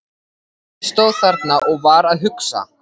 Ég stóð þarna og var að hugsa.